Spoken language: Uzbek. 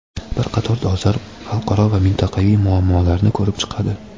bir qator dolzarb xalqaro va mintaqaviy muammolarni ko‘rib chiqadi.